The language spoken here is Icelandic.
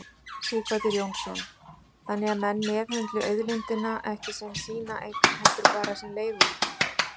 Sighvatur Jónsson: Þannig að menn meðhöndli auðlindina ekki sem sína eign heldur bara sem leiguíbúð?